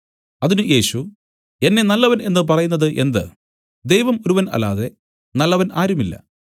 അതിന് യേശു എന്നെ നല്ലവൻ എന്നു പറയുന്നത് എന്ത് ദൈവം ഒരുവൻ അല്ലാതെ നല്ലവൻ ആരുമില്ല